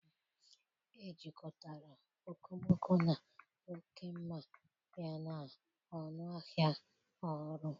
Ejikọtara okomoko na oke mma yana ọnụ ahịa ọrụ